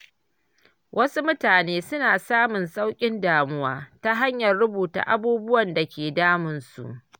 Wasu mutane suna samun sauƙin damuwa ta hanyar rubuta abubuwan da ke damunsu.